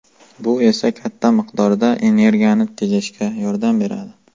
Bu esa katta miqdorda energiyani tejashga yordam beradi.